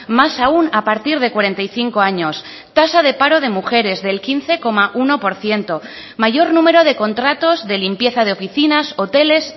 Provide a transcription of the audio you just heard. más aún a partir de cuarenta y cinco años tasa de paro de mujeres del quince coma uno por ciento mayor número de contratos de limpieza de oficinas hoteles